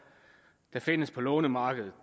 der findes på lånemarkedet